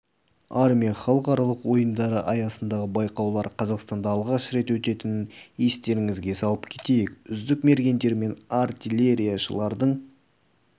армия халықаралық ойындары аясындағы байқаулар қазақстанда алғаш рет өтетінін естеріңізге сала кетейік үздік мергендер мен артиллерияшылардың